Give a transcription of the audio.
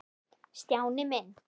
Stjáni minn.